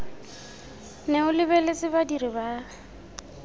nne o lebeletse badiri ba